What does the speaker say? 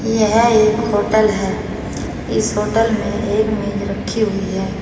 यह एक होटल है इस होटल में एक मेज रखी हुई है।